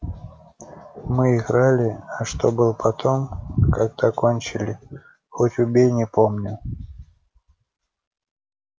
мы играли а что было потом когда кончили хоть убей не помню